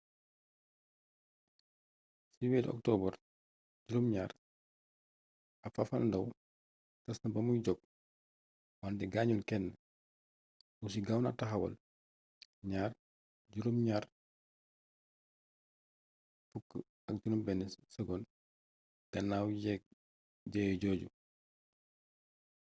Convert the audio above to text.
ci weeru okotobar7 ab fafalndaaw tas na bamuy jóg wante gaañul kenn russi gaaw na taxawal ii-76s gannaaw jëye jooju